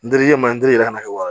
N dirilen ma n delila ka na kɛ wa